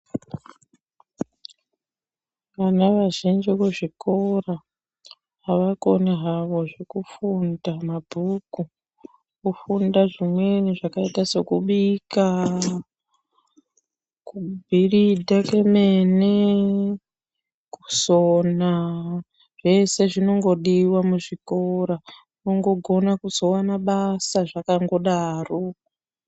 Vana vazhinji muzvikora avakoni havo zvekufunda mabhuku. Kufunda zvimweni zvakaita sekubika, kubhilidhe kemene, kusona. Zvese zvinongodiwa muzvikora. Unongogona kuzowana basa zvakangodaro.